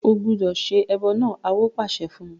O gbúdọ̀ se ẹbọ náà! Awo pàṣẹ fún un.